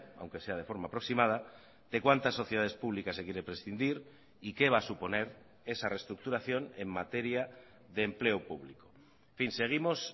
aunque sea de forma aproximada de cuántas sociedades públicas se quiere prescindir y qué va a suponer esa reestructuración en materia de empleo público seguimos